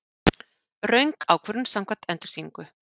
Röng ákvörðun samkvæmt endursýningu